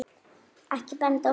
Ekki benda á mig